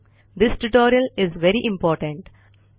this tutorial is very important